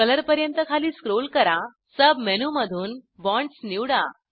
colour पर्यंत खाली scroll करा सब मेनूमधून बॉण्ड्स निवडा